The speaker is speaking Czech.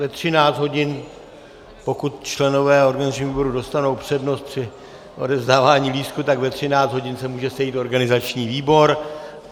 Ve 13 hodin, pokud členové organizačního výboru dostanou přednost při odevzdávání lístků, tak ve 13 hodin se může sejít organizační výbor.